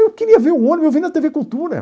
Eu queria ver o ônibus, eu vi na tê vê Cultura.